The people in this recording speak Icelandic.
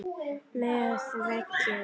Með veggjum